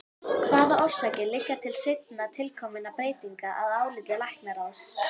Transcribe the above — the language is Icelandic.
Hvaða orsakir liggja til seinna tilkominna breytinga að áliti læknaráðs?